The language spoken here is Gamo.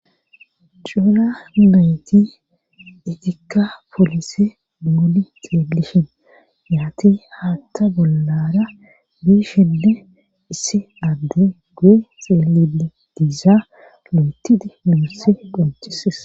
cuula meyti itikka poolise moli xeellishin yaati haatta bollara biishenne issi adde gue xeelie diizaa lu7etidi miusse qonchises